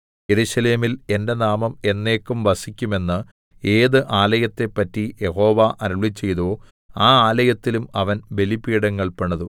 യെരൂശലേമിൽ എന്റെ നാമം എന്നേക്കും വസിക്കും എന്ന് ഏത് ആലയത്തേപ്പറ്റി യഹോവ അരുളിച്ചെയ്തുവോ ആ ആലയത്തിലും അവൻ ബലിപീഠങ്ങൾ പണിതു